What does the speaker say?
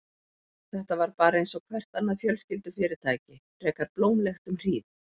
Þetta var bara einsog hvert annað fjölskyldufyrirtæki, frekar blómlegt um hríð.